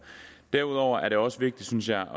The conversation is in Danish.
derudover er det også vigtigt synes jeg